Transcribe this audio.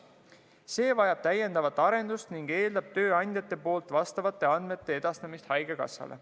See vajab täiendavat arendust ning eeldab tööandjate poolt vastavate andmete edastamist haigekassale.